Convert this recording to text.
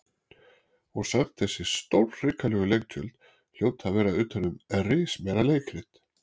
Og samt þessi stórhrikalegu leiktjöld hljóta að vera utan um rismeira leikrit.